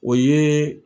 O ye